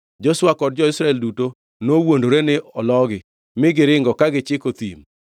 Joshua kod jo-Israel duto nowuondore ni ologi, mi giringo ka gichiko thim.